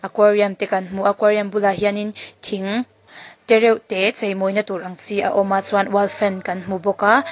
aquarium te kan hmu a aquarium bulah hianin thing te reuh te chei maw na tur ang chi a awm a chuan wall fan kan hmu bawk a.